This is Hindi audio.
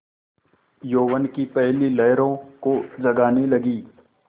यौवन की पहली लहरों को जगाने लगी